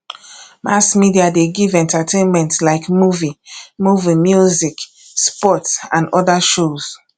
mass media de give entertainment like movie movie music sports and other shows